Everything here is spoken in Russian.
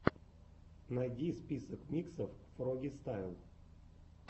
найди список миксов фрогистайл